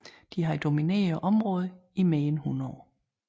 De havde domineret området i mere end 100 år